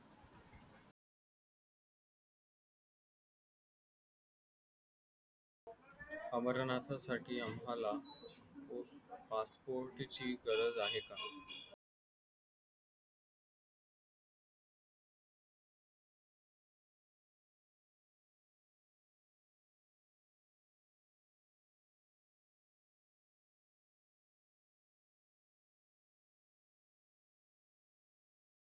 अमरनाथासाठी आम्हाला passport ची गरज आहे का?